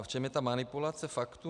A v čem je ta manipulace faktů?